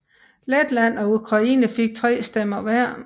Letland og Ukraine fik tre stemmer hver